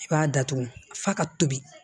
I b'a datugu f'a ka tobi